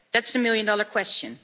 That's the million dollar question!